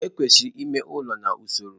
Ekwesịrị ime ụlọ n'usoro.